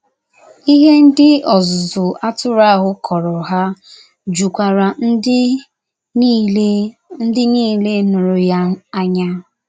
Ihe ndị ọzụzụ atụrụ ahụ kọọrọ ha jukwara ndị niile ndị niile nụrụ ya anya. ”